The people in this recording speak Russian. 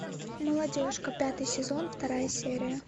молодежка пятый сезон вторая серия